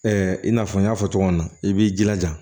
i n'a fɔ n y'a fɔ cogo min na i b'i jilaja